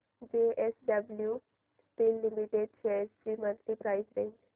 JSW steel limited shares ची monthly price range